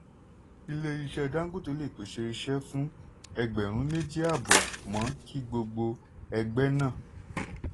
ilé iṣẹ́ dangote lè pèsè iṣẹ́ fún ẹgbẹ̀rún méjì àbọ̀ mo kí gbogbo ẹgbẹ́ náà.